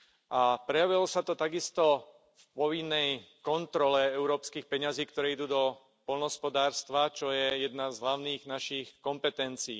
A prejavilo sa to takisto v povinnej kontrole európskych peňazí, ktoré idú do poľnohospodárstva, čo je jedna z našich hlavných kompetencií.